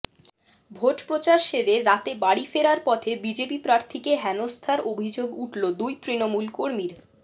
vote প্রচার সেরে রাতে বাড়ি ফেরার পথে বিজেপি প্রার্থীকে হেনস্থার অভিযোগ উঠল দুই তৃণমূল কর্মীর